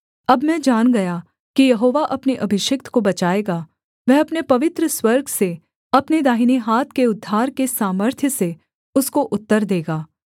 अब मैं जान गया कि यहोवा अपने अभिषिक्त को बचाएगा वह अपने पवित्र स्वर्ग से अपने दाहिने हाथ के उद्धार के सामर्थ्य से उसको उत्तर देगा